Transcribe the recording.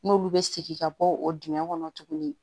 N'olu bɛ segin ka bɔ o dingɛ kɔnɔ tuguni